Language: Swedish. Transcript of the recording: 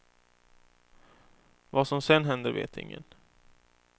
Vad som sedan händer vet ingen.